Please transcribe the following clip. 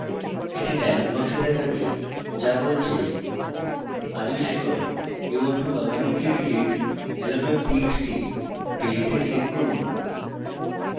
একটি dialog box দেখাবে যা বলছে are you sure you want to permanently delete hello txt delete a click করুন